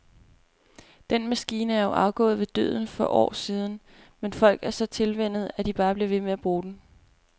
Den maskine er jo afgået ved døden for år siden, men folk er så tilvænnet, at de bare bliver ved med at bruge den.